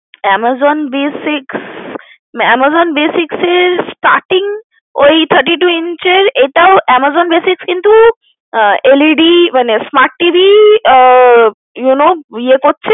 Amazon basics Amazon basics এর starting ওই Thirty-two inch এর এটাও Amazon basic কিন্তু LED মানে smart TV ah you know ইয়ে কড়ছে